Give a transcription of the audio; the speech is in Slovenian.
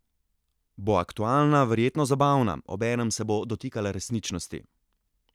Bo aktualna, verjetno zabavna, obenem se bo dotikala resničnosti.